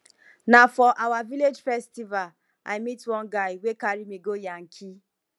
na for our village festival i meet one guy wey carry me go yankee